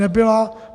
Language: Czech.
Nebyla.